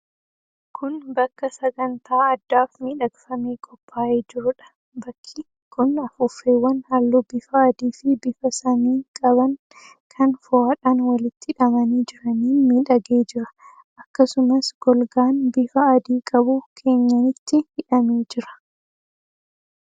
Kun bakka sagantaa addaaf miidhagfamee qophaa'ee jiruudha. Bakki kun afuuffeewwan halluu bifa adiifi bifa samii qaban kan fo'aadhaan walitti hidhamanii jiraniin miidhagee jira. Akkasumas golgaan bifa adii qabu keenyanitti hidhamee jira.